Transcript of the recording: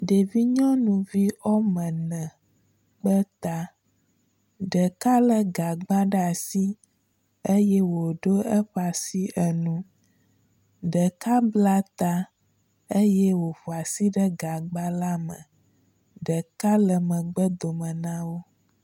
Ɖevi nyɔnuvi wɔme ene kpe ta. Ɖeka le gagba ɖe asi eye woɖo eƒe asi enu. Ɖeka bla ta eye oƒo asi ɖe gagba la me. Ɖeka le megbe dome na wo.